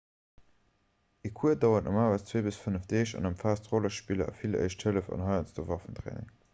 e cours dauert normalerweis 2 - 5 deeg an ëmfaasst rollespiller a vill éischt hëllef an heiansdo waffentraining